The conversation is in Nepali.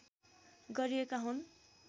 गरिएका हुन्